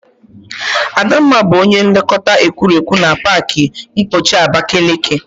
Adamma bu onye nlekọta egwuregwu na pak mkpọchi Abakeleke.